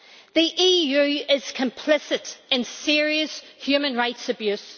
The EU is complicit in serious human rights abuse.